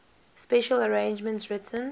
special arrangements written